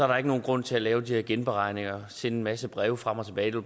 der ikke nogen grund til at lave de her genberegninger sende en masse breve frem og tilbage det